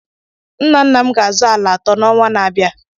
Nna nna m ga-azụ ala atọ n'ọnwa na-abịa.